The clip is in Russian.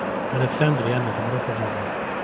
александр яна добро пожаловать